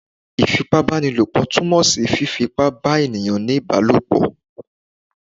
Ifípábanílopo tumọ sí fifí ípá bà eníyan ní ibálopọ